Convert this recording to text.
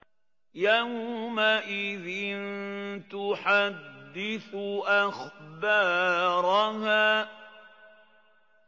يَوْمَئِذٍ تُحَدِّثُ أَخْبَارَهَا